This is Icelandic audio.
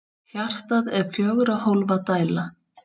Hjartað er fjögurra hólfa dæla.